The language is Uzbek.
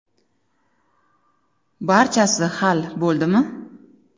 Barchasi hal bo‘ldimi?